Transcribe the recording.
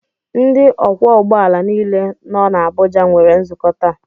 Ndị ọkwọ ụgbọala nile nọ na Abuja nwere nzukọ taa